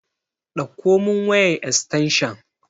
Ɗakko mun wayan estanshan